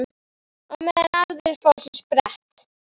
Meðan aðrir fá sér sprett?